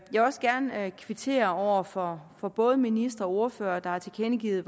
vil også gerne kvittere over for for både ministre og ordførere der har tilkendegivet